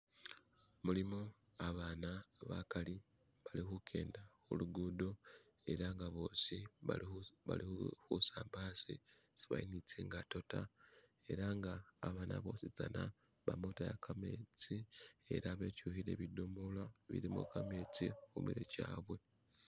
mulimu abaana bakali bali hukenda hulugudo ela nga boosi bali husamba asi ibali nitsingato ta elanga abaana boositsana bamotaya kametsi ela betyuhile bidomolo bilimo kametsi humirwe kyabwe